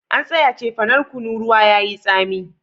An tsaya cefanan kunu ruwa yayi tsami